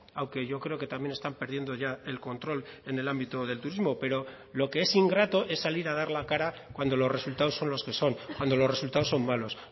aunque yo creo que también están perdiendo ya el control en el ámbito del turismo pero lo que es ingrato es salir a dar la cara cuando los resultados son los que son cuando los resultados son malos